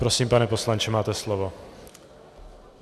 Prosím, pane poslanče, máte slovo.